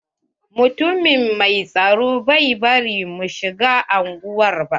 Mutumin mai tsaro bai bari mun shiga unguwar ba.